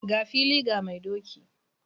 Ga fili ga mai doki!